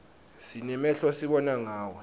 sinemehlo sibona ngawo